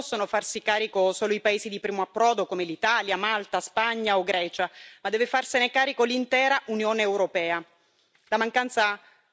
Ecco, sono questioni di cui non possono farsi carico solo i paesi di primo approdo come l'Italia, Malta, Spagna o Grecia, ma deve farsene carico l'intera Unione europea.